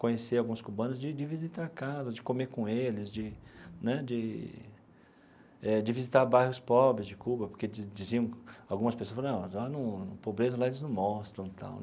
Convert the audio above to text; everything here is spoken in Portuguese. Conheci alguns cubanos de de visitar casas, de comer com eles, de né de eh de visitar bairros pobres de Cuba, porque di diziam algumas pessoas falam ah lá num pobreza lá eles não mostram e tal.